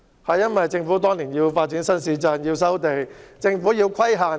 當年政府為了發展新市鎮，便要收地和設立規限。